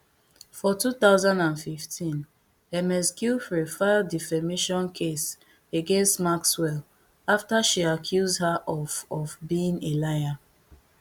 for two thousand and fifteen ms giuffre file defamation case against maxwell after she accuse her of of being a liar